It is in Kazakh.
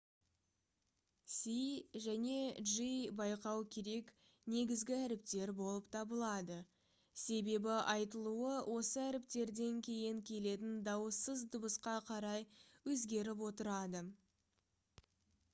c және g байқау керек негізгі әріптер болып табылады себебі айтылуы осы әріптерден кейін келетін дауыссыз дыбысқа қарай өзгеріп отырады